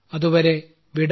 അതുവരെ വിട